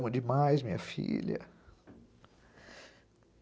Amo demais minha filha.